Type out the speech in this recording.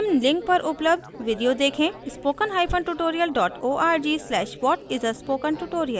निम्न link पर पर उपलब्ध video देखें spokentutorial org/what _ is _ a _ spoken _ tutorial